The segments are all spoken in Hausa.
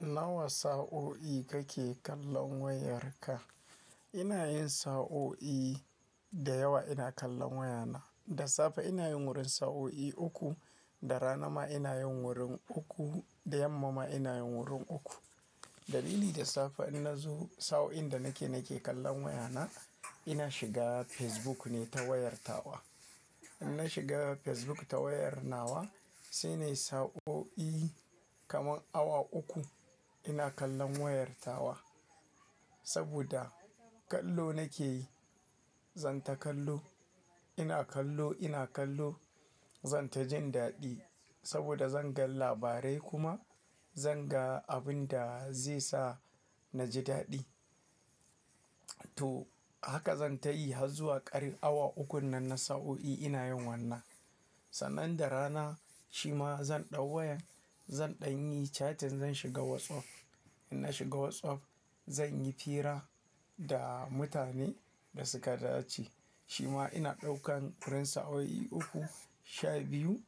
Nawa sa'o'i kake kallon wayarka? Ina yin sa'o'i da yawa ina kallon wayana. Da safe ina yin wurin sa'o'i uku, da rana ma ina yin wurin uku, da yamma ma ina yin wurin uku. Dalili da safe in na zo sa'o'in da nake, nake kallon wayana, ina shiga Facebook ne ta wayar ta wa. In na shiga Facebook ta wayar nawa sai nai sa'o'i kaman awa uku ina kallon wayar tawa. Saboda kallo nake yi, zan ta kallo. Ina kallo, ina kallo zan ta jin daɗi saboda zan ga labarai kuma zan ga abun da zai sa na ji daɗi. To haka zan ta yi har zuwa ƙarin awa ukun nan na sa'o'i ina yin wannan. Sannan da rana shi ma zan ɗau wayan, zan ɗanyi chatting zan shiga WhatsApp. In na shiga WhatsApp zan yi hira da mutane da suka dace. Shi ma ina ɗaukan wurin sa'o'i uku, sha biyu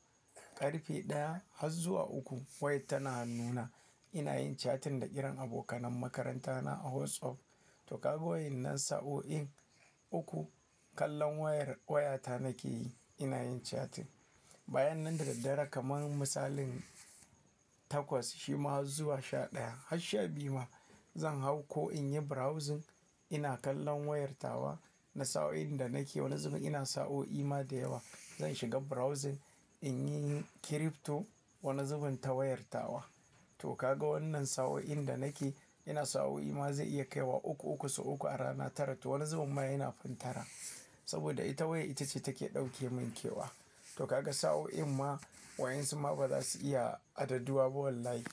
ƙarfe ɗaya har zuwa uku. Wayar tana nuna ina yin chatting da iran abokan makarantana a WhatsApp. To kaga wayen nan sa'o'in uku kallon wayar waya ta nake yi ina yin chatting. Bayan nan da daddare kaman misalin takwas shima har zuwa sha ɗaya har sha biyu ma zan hau ko in yi browsing ina kallon wayar tawa na sa'o'in da nake. Wani zuwa ina sa'o'i ma da yawa zan shiga browsing in yi kirifto wani zuwa ta wayar tawa. To kaga wannan sa'o'in da nake ina sa'o'i ma zai iya kai wa uku uku sau uku a rana tara. To wani zuwa ma yana fantara saboda ita waya ita ce take ɗauke min kewa. To kaga sa'o'i ma wayan su ma ba za su iya adaduwa ba wallahi.